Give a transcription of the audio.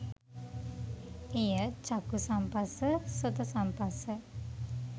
එය චක්ඛු සම්පස්ස, සොත සම්පස්ස,